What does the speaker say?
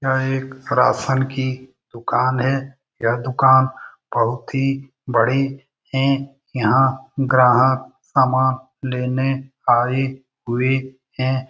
यह एक राशन की दुकान है। यह दुकान बहुत ही बड़ी है। यहाँ ग्राहक सामान लेने आये हुए हैं।